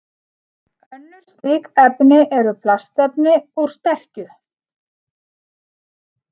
Önnur slík efni eru plastefni úr sterkju.